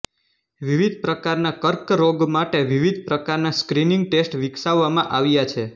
વિવિધ પ્રકારના કર્કરોગ માટે વિવિધ પ્રકારના સ્ક્રિનિંગ ટેસ્ટ વિકસાવવામાં આવ્યા છે